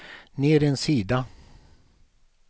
ner en sida